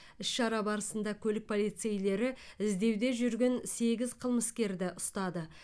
іс шара барысында көлік полицейлері іздеуде жүрген сегіз қылмыскерді ұстады